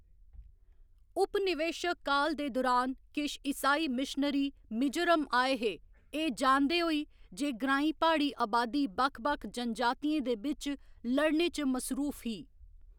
उपनिवेशक काल दे दुरान किश ईसाई मिशनरी मिजोरम आए हे एह्‌‌ जानदे होई जे ग्रांईं प्हाड़ी अबादी बक्ख बक्ख जनजातियें दे बिच्च लड़ने च मसरूफ ही।